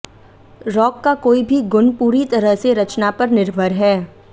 rock का कोई भी गुण पूरी तरह से रचना पर निर्भर हैं